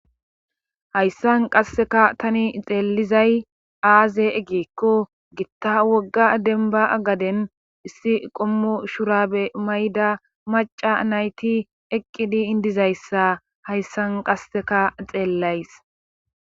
Hayssan qasseka tani xeelizay aaze eggeekko gitta wogga denba agaden issi qommo shurabe mayda maca nayti eqqidi indizayssa hayssan qasseka xeellays